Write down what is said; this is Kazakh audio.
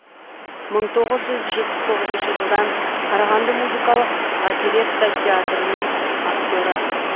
мың тоғыз жүз жетпіс тоғызыншы жылдан қарағанды музыкалық оперетта театрының актері